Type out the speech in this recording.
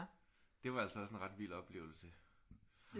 Det var altså også en ret vild oplevelse